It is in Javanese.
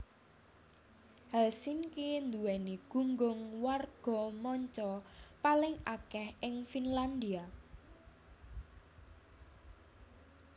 Helsinki nduwèni gunggung warga manca paling akèh ing Finlandia